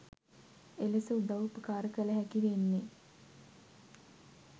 එලෙස උදව් උපකාර කළහැකි වෙන්නේ.